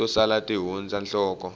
to sala ti hundza nhloko